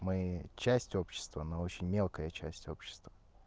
мы часть общества но очень мелкая часть общества